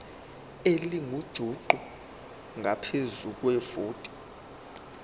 elingujuqu ngaphezu kwevoti